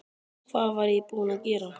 Hvað var ég búin að gera?